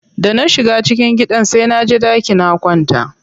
Da na shiga cikin gidan sai naje ɗaki na kwanta.